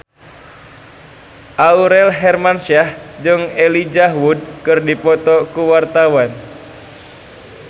Aurel Hermansyah jeung Elijah Wood keur dipoto ku wartawan